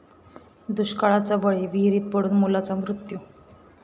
दुष्काळाचा बळी, विहिरीत पडून मुलाचा मृत्यू